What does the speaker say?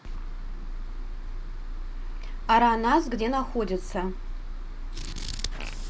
аранас где находится